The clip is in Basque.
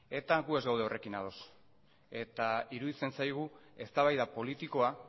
gu ez gaude horrekin ados eta iruditzen zaigu eztabaida politikoa